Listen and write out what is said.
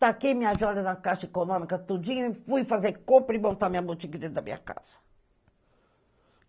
Taquei minhas joias na caixa econômica tudinho e fui fazer compra e montar minha boutique dentro da minha casa.